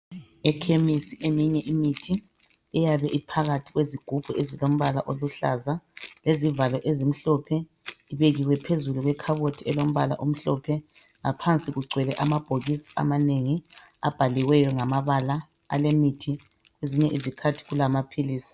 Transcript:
Ekhemisi eminye imithi iyabe iphakathi kwezigubhu ezilombala oluhlaza. lezivalo ezimhlophe ,ibekiwe phezulu kwekhabothi elombala emhlophe. Ngaphansi kugcwele amabhokisi amanengi abhaliweyo ngamabala alemithi kwezinye izikhathi kulamaphilisi.